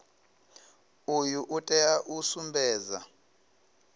uyu u tea u sumbedza